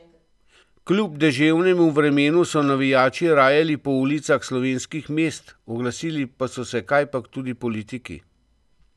Kljub deževnemu vremenu so navijači rajali po ulicah slovenskih mest, oglasili pa so se kajpak tudi politiki.